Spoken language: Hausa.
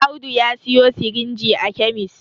Audu ya siyo sirinji a kemis